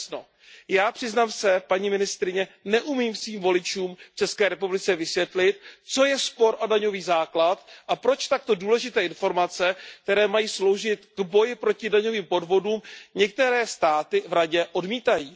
I já přiznám se paní ministryně, neumím svým voličům v České republice vysvětlit, co je spor o daňový základ a proč takto důležité informace, které mají sloužit k boji proti daňovým podvodům, některé státy v Radě odmítají.